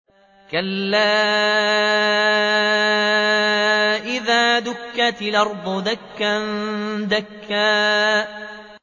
كَلَّا إِذَا دُكَّتِ الْأَرْضُ دَكًّا دَكًّا